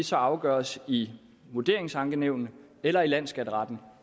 så afgøres i vurderingsankenævn eller i landsskatteretten